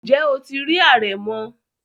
Ǹjẹ́ o ti rí àrẹ̀mọ?